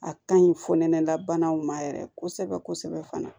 A ka ɲi fɔ nɛnɛ labanaw ma yɛrɛ kosɛbɛ kosɛbɛ fana